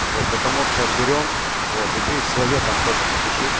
вот потому и отберём вот и ты своё там тоже на